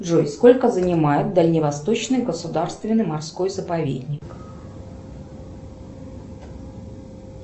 джой сколько занимает дальневосточный государственный морской заповедник